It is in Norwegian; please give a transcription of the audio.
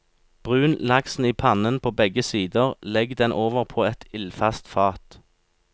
Brun laksen i pannen på begge sider, legg den over på et ildfast fat.